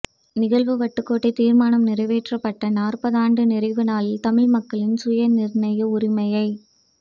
நிகழ்வுவட்டுக்கோட்டை தீர்மானம் நிறைவேற்றப்பட்ட நாற்பதாண்டு நிறைவு நாளில் தமிழ்மக்களின் சுயநிர்ணய உரிமையை